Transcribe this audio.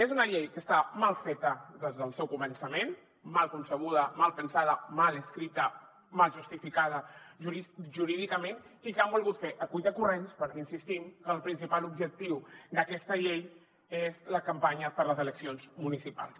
és una llei que està mal feta des del seu començament mal concebuda mal pensada mal escrita mal justificada jurídicament i que han volgut fer a cuitacorrents perquè insistim que el principal objectiu d’aquesta llei és la campanya per a les eleccions municipals